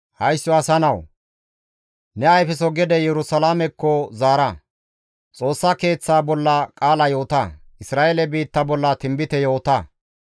«Haysso asa nawu! Ne ayfeso gede Yerusalaamekko zaara; Xoossa Keeththa bolla qaala yoota; Isra7eele biitta bolla tinbite yoota.